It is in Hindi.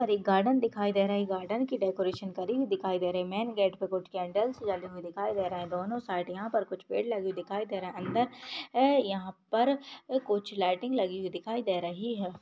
दिखाई दे रहा है गार्डन की डेकोरेशन करि हुई दिखाई रही है मैन गेट पे कुछ कैंडल्स जली हुई दिखाई दे रहा है दोनो सैडिया पर कुछ पेड़ लगे हुए दिखाई दे रहे है अंदर ए यहाँ पर कुछ लाइटिंग लगी हुई दिखाई दे रही है।